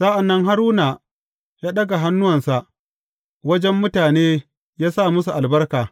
Sa’an nan Haruna ya ɗaga hannuwansa wajen mutane ya sa musu albarka.